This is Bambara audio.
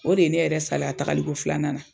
O de ye ne yɛrɛ salaya tagali ko filanan na.